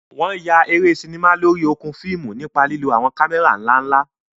Wọn yà eré sinimá lórí okùn fíìmù nípa lílo àwọn kámẹ́rà ńlá ńlá.